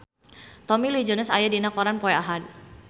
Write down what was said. Tommy Lee Jones aya dina koran poe Ahad